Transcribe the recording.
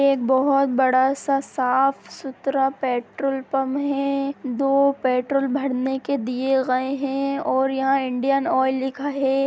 एक बहुत बड़ा सा साफ-सुथरा पेट्रोल पंप है दो पेट्रोल भरने के दिए गए हैं और यह इंडियन ऑयल लिखा है।